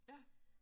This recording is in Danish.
Ja